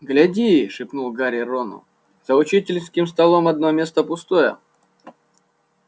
гляди шепнул гарри рону за учительским столом одно место пустое